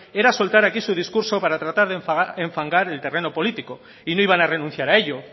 era soltar aquí su discurso para tratar de enfangar el terreno político y no iban a renunciar a ello